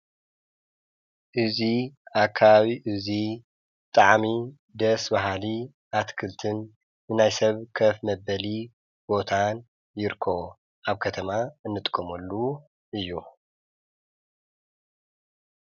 እዙይ ኣካላዊ እዙይ ጣዕሚ ደስ ባሃሊ ኣትክልትን እናይ ሰብ ከፍ መበሊ ቦታን ይርኮ ኣብ ከተማ እንጥቆመሉ እዩ።